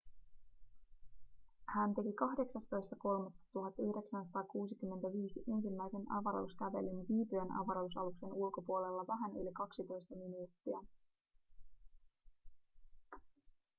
hän teki 18.3.1965 ensimmäisen avaruuskävelyn viipyen avaruusaluksen ulkopuolella vähän yli kaksitoista minuuttia